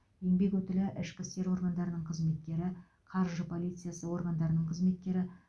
еңбек өтілі ішкі істер органдарының қызметкері қаржы полициясы органдарының қызметкері